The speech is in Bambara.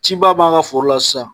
Cibaa b'an ka foro la sisan